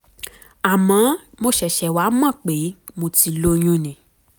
àmọ́ mo ṣẹ̀ṣẹ̀ wá mọ̀ pé mo ti lóyún ni